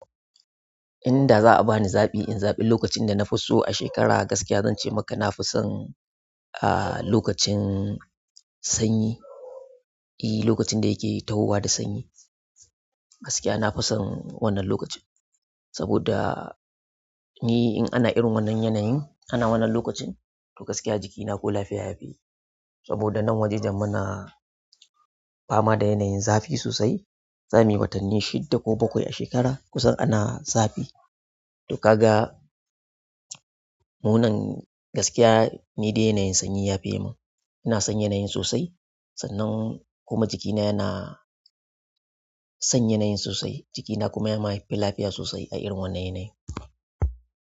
Inda za'a bani zaɓi in zaɓi lokacin dana fiso a shekara, gaskiya zance maka nafi son, ah, lokacin sanyi. E, lokacin da yake tahowa da sanyi. Gaskiya na fi son wannan lokacin. Saboda ni ina irin wannan yanayin ana wannan lokacin gaskiya jikina ko lafiya yafi saboda nan wajejen muna fama da yanayin zafi sosai. Zamuyi watanni shidda ko bakwai a shekara kusan ana zafi. To kaga munan, gaskiya ni dai yanayin sanyi yafi mun. Ina son yanayin sosai. Sannan kuma jikina yana son yanayin sosai jikina kuma yafi lafiya sosai a wannan yanayin.